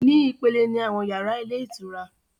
Ni ìpele ni àwọn yàrá ilé ìtura